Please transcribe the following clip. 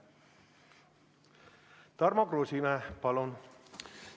Tarmo Kruusimäe, palun!